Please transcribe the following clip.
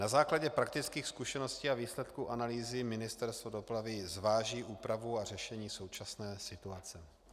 Na základě praktických zkušeností a výsledků analýzy Ministerstvo dopravy zváží úpravu a řešení současné situace.